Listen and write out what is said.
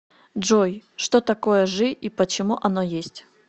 джой что такое жи и почему оно есть